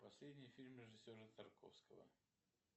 последний фильм режиссера тарковского